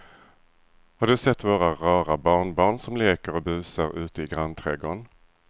Har du sett våra rara barnbarn som leker och busar ute i grannträdgården!